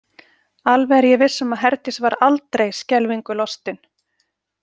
Alveg er ég viss um að Herdís var aldrei skelfingu lostin.